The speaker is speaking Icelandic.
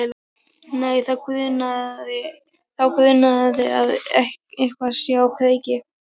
Nei, þá grunar að eitthvað sé á kreiki.